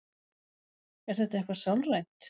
er þetta eitthvað sálrænt